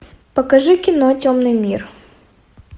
покажи кино темный мир